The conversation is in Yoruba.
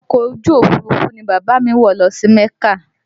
Ọkọ̀ ojú Òfurufú ni bàbá a mi wọ̀ lọ sí mẹ́kà